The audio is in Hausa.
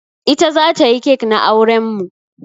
Ita za ta yi cake na auren mu.